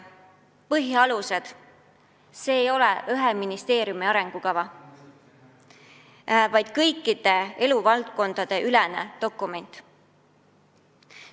Põhialused – see ei ole ühe ministeeriumi arengukava, vaid kõiki eluvaldkondi hõlmav dokument.